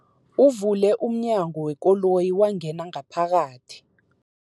Uvule umnyango wekoloyi wangena ngaphakathi.